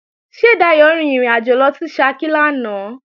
Ṣé Dayò rin ìrìnàjò lọ sí Ṣakí lánàá?